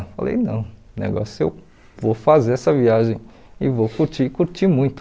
Falei, não, o negócio é eu vou fazer essa viagem e vou curtir, curtir muito.